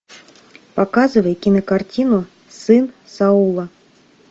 показывай кинокартину сын саула